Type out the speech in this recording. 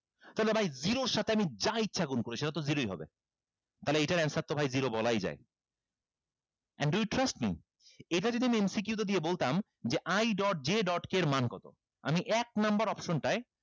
তইলে ভাই zero এর সাথে আমি যা ইচ্ছা গুন করি সেটাতো zero ই হবে তাইলে এইটার answer তো ভাই zero বলাই যায় and do you trust me এটা যদি আমি MCQ তে দিয়ে বলতাম যে i dot j dot k এর মান কত আমি এক number option টায়